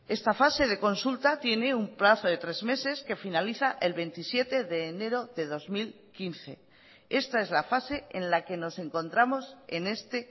esta fase de consulta tiene un plazo de tres meses que finaliza el veintisiete de enero de dos mil quince esta es la fase en la que nos encontramos en este